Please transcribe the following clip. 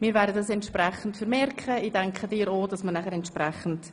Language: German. Sie haben den Ordnungsantrag einstimmig angenommen.